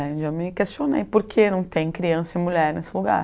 né. Já me questionei por que não tem criança e mulher nesse lugar.